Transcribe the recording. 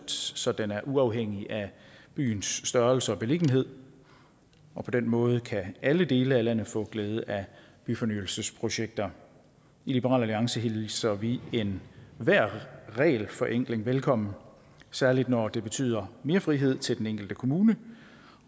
så den er uafhængig af byens størrelse og beliggenhed på den måde kan alle dele af landet få glæde af byfornyelsesprojekter i liberal alliance hilser vi enhver regelforenkling velkommen særlig når det betyder mere frihed til den enkelte kommune